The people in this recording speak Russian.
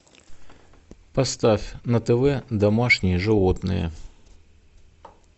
поставь на тв домашние животные